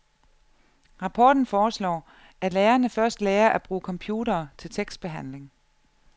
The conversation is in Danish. Rapporten foreslår, at lærerne først lærer at bruge computere til tekstbehandling.